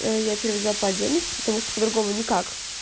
я переводила по-отдельности потому что по-другому никак